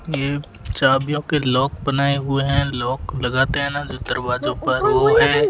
ये चाबियों के लॉक बनाए हुए हैं लॉक लगाते है न जो दरवाजों पर वो है।